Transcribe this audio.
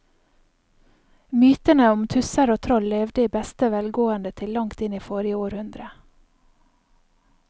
Mytene om tusser og troll levde i beste velgående til langt inn i forrige århundre.